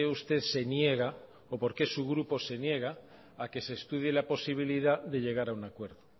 usted se niega o por qué su grupo se niega a que se estudie la posibilidad de llegar a un acuerdo